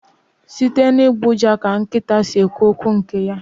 Site n'ịgbọ ụja ka nkịta si ekwu okwu nke ya